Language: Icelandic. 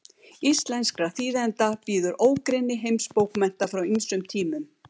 íslenskra þýðenda bíður ógrynni heimsbókmennta frá ýmsum tímum